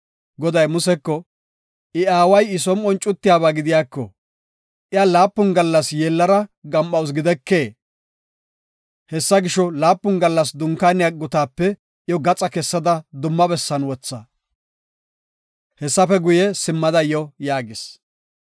Goday Museko, “I aaway I som7on cuttiyaba gidiyako, iya laapun gallas yeellara gam7awusu gidikee? Hessa gisho, laapun gallas dunkaaniya gutaape iyo gaxa kessada dumma bessan wotha; hessafe guye, simmada yo” yaagis.